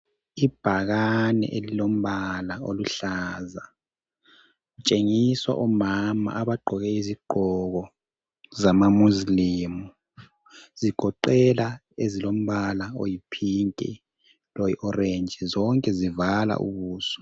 Ibhakani elilombala oluhlaza, Litshengisa omama abagqkoke izigqoko zama Mosilemu. Zigoqela ezilombala oyiphinki loyi orentshi. Zonke zivala ubuso.